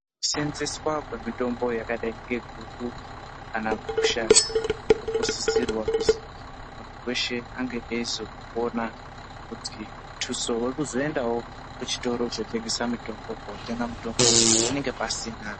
Kusenzeswa kwemitombo yakadai ngeguku kana gusha inosisirwa kunge munhu weshe ange eizokuona ngekuti mutuso wekuzoendawo kuchitoro chinotengeswa mutombo panenga pasina .